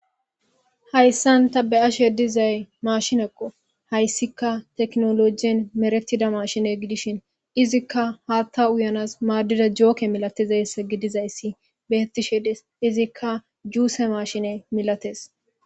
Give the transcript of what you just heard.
Haysani ta be'ashe dizay mashineko, haysika tekinolojen medhetida mashine gidishn izka hata uyanasi madiza joke malatizaysa gidizaysi betishe Desi, izika juice mashine malatesi.